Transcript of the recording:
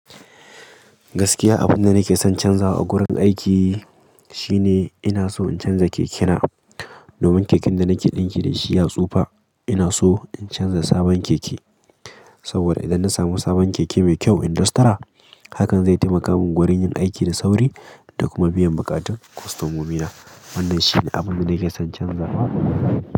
Gaskiya, abin da nake son canzawa a wurin aiki shine ina so in canza kekena. Domin keken da nake ɗinki da shi ya tsufa. Inaso in canza sabon keke. Saboda idan na samu sabon keke mai kyau industra, hakan zai taimaka mun gurin yin aiki da sauri domin biyan bukatan kostomomi na wannan shine abin da nake son canzawa.